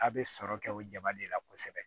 A' bɛ sɔrɔ kɛ o jaba de la kosɛbɛ